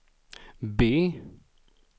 B